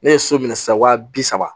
Ne ye so minɛ sisan wa bi saba